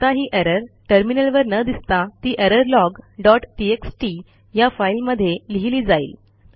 आता ही एरर टर्मिनलवर न दिसता ती एररलॉग डॉट टीएक्सटी या फाईलमध्ये लिहिली जाईल